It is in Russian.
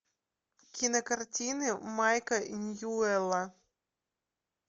кинокартины майка ньюэлла